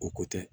O ko tɛ